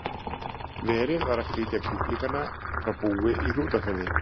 Verið var að flytja kjúklingana frá búi í Hrútafirði.